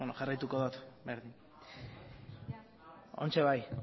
jarraituko dut berdin orain bai